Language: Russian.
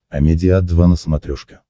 амедиа два на смотрешке